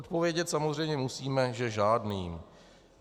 Odpovědět samozřejmě musíme, že žádným.